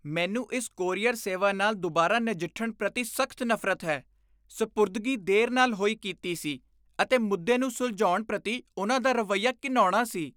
ਮੈਨੂੰ ਇਸ ਕੋਰੀਅਰ ਸੇਵਾ ਨਾਲ ਦੁਬਾਰਾ ਨਜਿੱਠਣ ਪ੍ਰਤੀ ਸਖ਼ਤ ਨਫ਼ਰਤ ਹੈ। ਸਪੁਰਦਗੀ ਦੇਰ ਨਾਲ ਹੋਈ ਕੀਤੀ ਸੀ, ਅਤੇ ਮੁੱਦੇ ਨੂੰ ਸੁਲਝਾਉਣ ਪ੍ਰਤੀ ਉਨ੍ਹਾਂ ਦਾ ਰਵੱਈਆ ਘਿਣਾਉਣਾ ਸੀ।